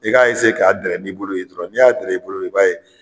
I ka ka dɛrɛ n'i bolo ye dɔrɔn, ni y'a dɛrɛ i bolo i b'a ye